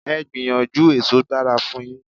Please try, fruit is good for you.